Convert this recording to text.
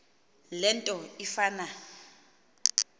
le nto ifana